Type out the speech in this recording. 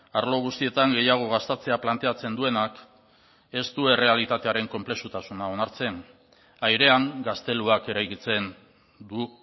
arlo guztietan gehiago gastatzea planteatzen duenak ez du errealitatearen konplexutasuna onartzen airean gazteluak eraikitzen du